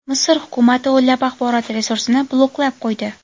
Misr hukumati o‘nlab axborot resursini bloklab qo‘ydi.